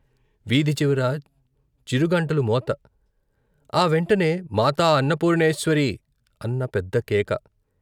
వీధి చివర చిరుగంటల మోత ఆ వెంటనే " మాతా అన్నపూర్ణేశ్వరీ " అన్న పెద్దకేక.